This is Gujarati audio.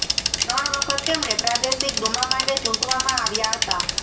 ત્રણ વખત તેમણે પ્રાદેશિક ડુમા માટે ચૂંટવામાં આવ્યા હતા